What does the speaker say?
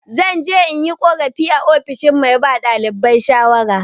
Zan je in yi korafi a ofishin mai ba ɗalibai shawara.